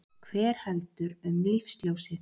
Hver heldur um lífsljósið?